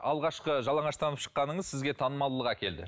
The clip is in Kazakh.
алғашқы жалаңыштанып шыққаныңыз сізге танымалдылық әкелді